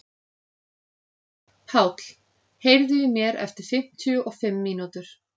Páll, heyrðu í mér eftir fimmtíu og fimm mínútur.